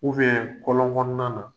U kɔlɔn kɔnɔnan na..